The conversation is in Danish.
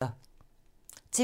TV 2